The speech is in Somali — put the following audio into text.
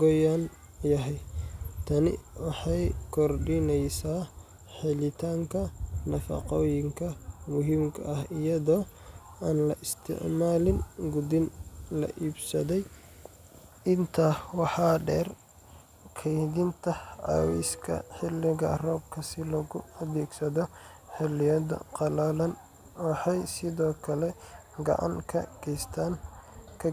qoyan yahay. Tani waxay kordhinaysaa helitaanka nafaqooyinka muhiimka ah iyadoo aan la isticmaalin quudin la iibsaday. Intaa waxaa dheer, kaydinta cawska xilliga roobka si loogu adeegsado xilliyada qalalan waxay sidoo kale gacan ka